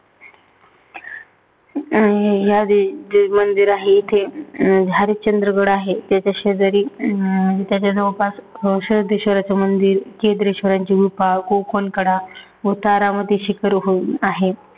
अं मंदिर आहे. इथे हरिश्चंद्रगड आहे. त्याच्या शेजारी अं त्याच्या जवळपास जगदीश्वराचं मंदिर, केद्रेश्वराच्ची गुफा, कोकण कडा व तारामती शिखर होय आहे.